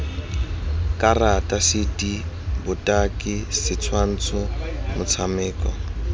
karata cd botaki setshwantsho motshameko